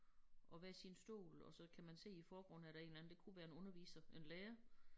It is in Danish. Og hver sin stol og så kan man se i æ forgrund er der en eller anden det kunne være en underviser en lærer